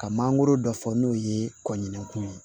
Ka mangoro dɔ fɔ n'o ye kɔɲinko ye